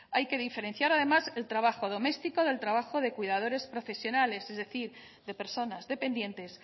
hay que diferenciar además el trabajo doméstico del trabajo de cuidadores profesionales es decir de personas dependientes